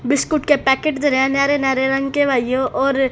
biscuit के packet दे रहे न्यारे न्यारे रंग के भाइयों और--